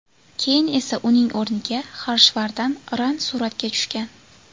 Keyin esa uning o‘rniga Xarshvardan Ran suratga tushgan.